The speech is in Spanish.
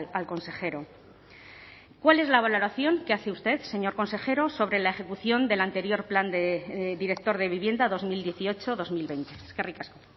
al consejero cuál es la valoración que hace usted señor consejero sobre la ejecución del anterior plan de director de vivienda dos mil dieciocho dos mil veinte eskerrik asko